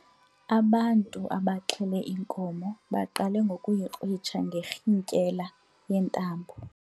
Ubantu abaxhele inkomo baqale ngokuyikrwitsha ngerhintyela yentambo.